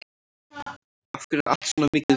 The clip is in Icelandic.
Af hverju er allt svona mikið vesen?